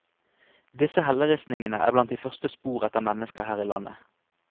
Disse helleristningene er blant de første spor etter mennesker her i landet.